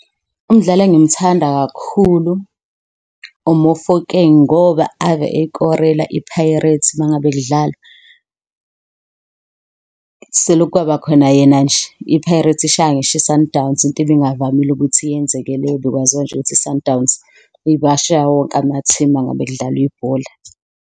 Umdlali engimthanda kakhulu u-Mofokeng, ngoba ave eyikorela i-Pirates uma ngabe kudlalwa. Selokhu kwaba khona yena nje, i-Pirates ishaya ngisho i-Sundowns, into ebingavamile ukuthi yenzeke leyo bekwaziwa nje ukuthi i-Sundowns ibashaya wonke amathimu mangabe kudlalwa ibhola.